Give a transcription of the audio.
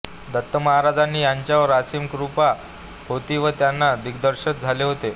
दत्तमहाराजांची यांच्यावर असीम कृपा होती व त्यांना दत्तदर्शन झाले होते